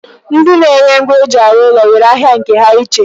Ndi na-ere ngwa eji arụ ụlọ nwere ahịa nke ha iche.